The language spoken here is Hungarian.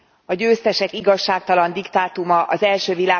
A győztesek igazságtalan diktátuma az I.